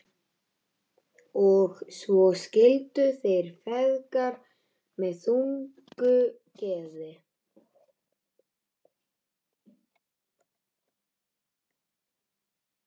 Og svo skildu þeir feðgar með þungu geði.